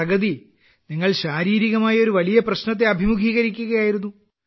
പ്രഗതി നിങ്ങൾ ശാരീരികമായി ഒരു വലിയ പ്രശ്നത്തെ അഭിമുഖീകരിക്കുകയായിരുന്നു